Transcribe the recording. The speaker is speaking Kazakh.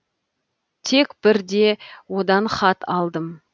тек бір де одан хат алдым